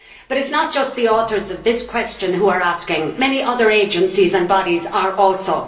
but it is not just the authors of this question who are asking many other agencies and bodies are also.